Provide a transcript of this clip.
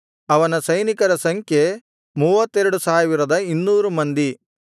ಅವನ ಸೈನಿಕರ ಸಂಖ್ಯೆ 32200 ಮಂದಿ